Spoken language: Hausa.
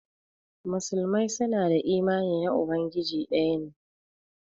Muslimai su na da imani na Ubangiji daya ne.